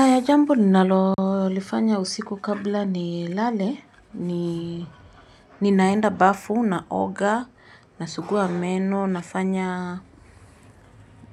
Aya jambo ninalolifanya usiku kabla ni lale ni ninaenda bafu naoga nasugua meno nafanya